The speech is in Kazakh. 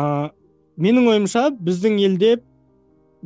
ыыы менің ойымша біздің елде